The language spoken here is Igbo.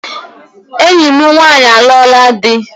Enyi m nwanyị alụọla dị